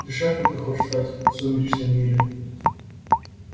решай кем ты хочешь стать в сумеречном мире